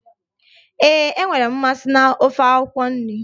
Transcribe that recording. Ee, enwere m mmasị na ofe akwụkwọ nri